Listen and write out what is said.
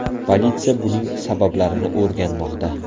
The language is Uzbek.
Politsiya buning sabablarini o‘rganmoqda.